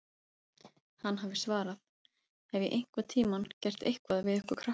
Hann hafi svarað: Hef ég einhvern tímann gert eitthvað við ykkur krakkana?